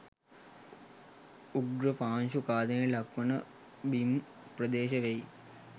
උග්‍ර පාංශු ඛාදනයට ලක්වන බිම් ප්‍රදේශ වෙයි